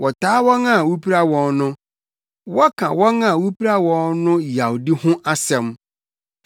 Wɔtaa wɔn a wupira wɔn no, wɔka wɔn a wupira wɔn no yawdi ho asɛm.